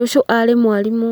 Cũcũ arĩ mwarimũ